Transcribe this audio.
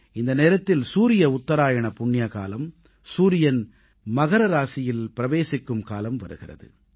இந்த நேரத்தில் சூரிய உத்தராயண புண்ணியகாலம் சூரியன் மகர ராசியில் பிரவேசிக்கும் காலம் வருகிறது